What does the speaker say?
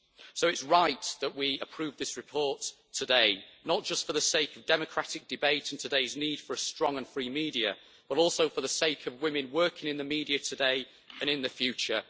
So it is right that we approve this report today, not just for the sake of democratic debate in today's need for a strong and free media, but also for the sake of women working in the media today and in the future.